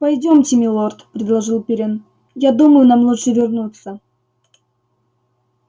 пойдёмте милорд предложил пиренн я думаю нам лучше вернуться